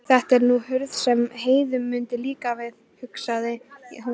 Þetta er nú hurð sem Heiðu mundi líka, hugsaði hún.